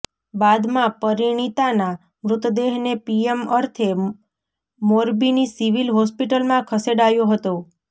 બાદમાં પરિણીતાના મૃતદેહને પીએમ અર્થે મોરબીની સિવિલ હોસ્પિટલમાં ખસેડાયો હતો